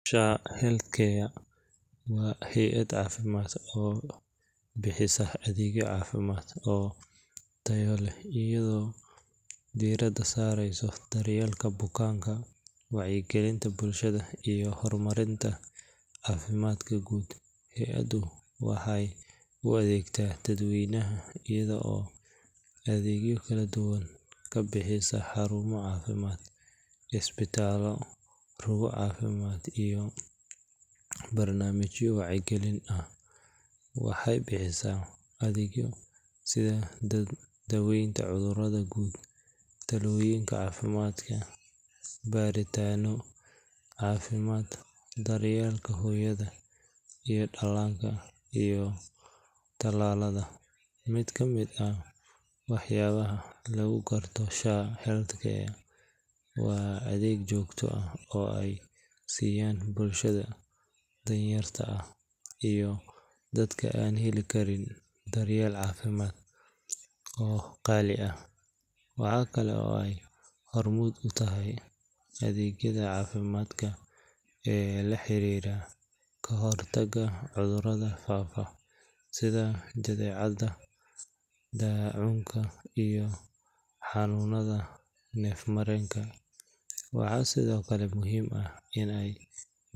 SHA Health Care waa hay’ad caafimaad oo bixisa adeegyo caafimaad oo tayo leh iyadoo diiradda saareysa daryeelka bukaanka, wacyigelinta bulshada iyo horumarinta caafimaadka guud. Hay’addu waxay u adeegtaa dadweynaha iyada oo adeegyo kala duwan ka bixisa xarumo caafimaad, isbitaallo, rugo caafimaad iyo barnaamijyo wacyigelin ah. Waxay bixisaa adeegyada sida daaweynta cudurrada guud, talooyinka caafimaadka, baaritaanno caafimaad, daryeelka hooyada iyo dhallaanka, iyo tallaalada. Mid ka mid ah waxyaabaha lagu garto SHA Health Care waa adeeg joogto ah oo ay siiyaan bulshada danyarta ah iyo dadka aan heli karin daryeel caafimaad oo qaali ah. Waxa kale oo ay hormuud u tahay adeegyada caafimaadka ee la xiriira kahortagga cudurrada faafa sida jadeecada, daacuunka, iyo xanuunnada neef-mareenka. Waxaa sidoo kale muhiim ah in ay.